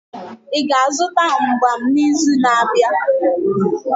Ị ga-azụta mgbam n'izu na-abịa?